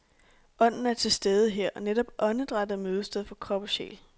Ånden er til stede her, og netop åndedrættet er mødested for krop og sjæl.